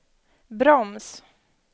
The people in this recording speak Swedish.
broms